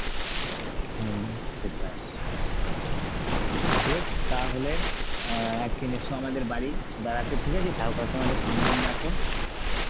হম সেটাই. বেশ তাহলে অ্যাঁ একদিন এসো আমাদের বাড়ি বেড়াতে ঠিক আছে, কাকু কাকিমাকে সঙ্গে নিয়ে আসো.